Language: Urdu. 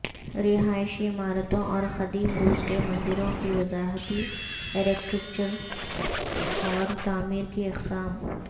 رہائشی عمارتوں اور قدیم روس کے مندروں کی وضاحتی ارکیٹیکچرل اور تعمیر کی اقسام